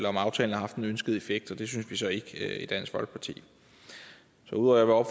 om aftalen har haft den ønskede effekt og det synes vi så ikke i dansk folkeparti ud over at